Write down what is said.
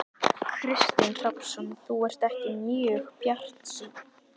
Kristinn Hrafnsson: Þú ert ekki mjög bjartsýn?